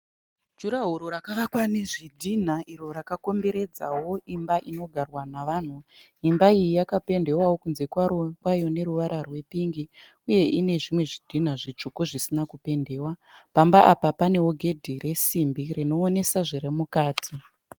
Juraworo rakavakwa nezvidhina iro rakakomberedzawo imba inogarwa navanhu. Imba iyi yakapendewawo kunze kwayo neruvara rwepingi uye ine zvimwe zvidhina zvitsvuku zvisina kupendewa. Pamba apa panewo gedhi resimbi rinoonesa zviri mukati.